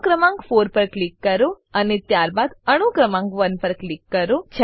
અણુ ક્રમાંક 4 પર ક્લિક કરો અને ત્યારબાદ અણુ ક્રમાંક 1 પર ક્લિક કરો